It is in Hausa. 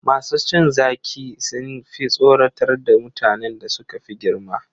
Masu cin zaki sun fi son tsoratar da mutanen da suka fi girma.